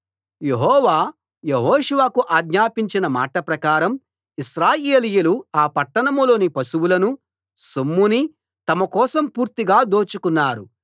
యెహోవా యెహోషువకు ఆజ్ఞాపించిన మాట ప్రకారం ఇశ్రాయేలీయులు ఆ పట్టణంలోని పశువులనూ సొమ్మునీ తమ కోసం పూర్తిగా దోచుకున్నారు